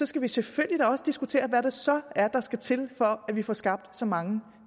skal vi selvfølgelig også diskutere hvad der så skal til for at vi får skabt så mange